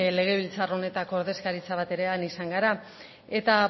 legebiltzar honetako ordezkaritza bat ere han izan gara eta